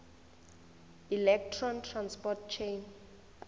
electron transport chain